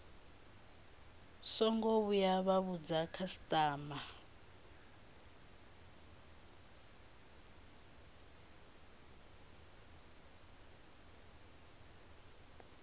songo vhuya vha vhudza khasitama